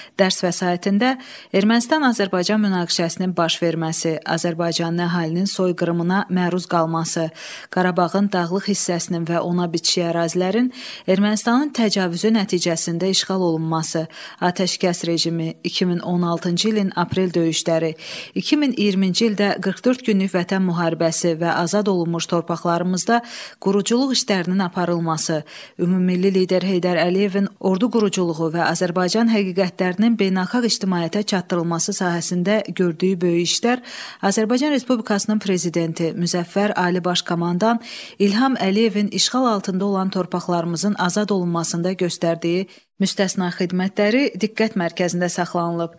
Dərs vəsaitində Ermənistan-Azərbaycan münaqişəsinin baş verməsi, Azərbaycan əhalisinin soyqırımına məruz qalması, Qarabağın dağlıq hissəsinin və ona bitişik ərazilərin Ermənistanın təcavüzü nəticəsində işğal olunması, atəşkəs rejimi, 2016-cı ilin aprel döyüşləri, 2020-ci ildə 44 günlük Vətən müharibəsi və azad olunmuş torpaqlarımızda quruculuq işlərinin aparılması, ümummilli lider Heydər Əliyevin ordu quruculuğu və Azərbaycan həqiqətlərinin beynəlxalq ictimaiyyətə çatdırılması sahəsində gördüyü böyük işlər, Azərbaycan Respublikasının Prezidenti, Müzəffər Ali Baş Komandan İlham Əliyevin işğal altında olan torpaqlarımızın azad olunmasında göstərdiyi müstəsna xidmətləri diqqət mərkəzində saxlanılıb.